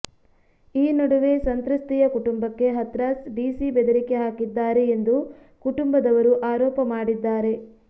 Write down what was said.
ಈ ನಡುವೆ ಸಂತ್ರಸ್ತೆಯ ಕುಟುಂಬಕ್ಕೆ ಹತ್ರಾಸ್ ಡಿಸಿ ಬೆದರಿಕೆ ಹಾಕಿದ್ದಾರೆ ಎಂದು ಕುಟುಂಬದವರು ಆರೋಪ ಮಾಡಿದ್ದಾರೆ